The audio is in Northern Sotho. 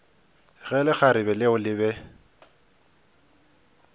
ge lekgarebe leo le be